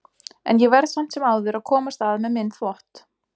En ég verð samt sem áður að komast að með minn þvott.